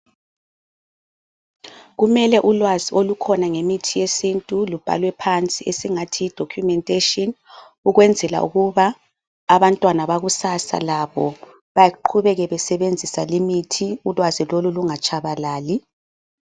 Kumele ulwazi olukhona ngemithi yesintu lubhalwe phansi esingathi yi documentation, ukwenzela ukuba abantwana bakusasa labo baqhubeke besebenzisa limithi, ulwazi lolu lungatshabalali.